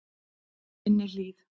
Minni Hlíð